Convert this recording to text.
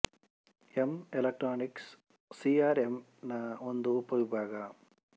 M electronic C R M ನ ಒಂದು ಉಪವಿಭಾಗ